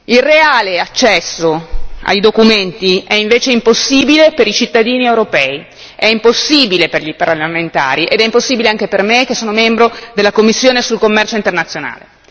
Il reale accesso ai documenti è invece impossibile per i cittadini europei, è impossibile per i parlamentari ed è impossibile anche per me che sono membro della commissione per il commercio internazionale.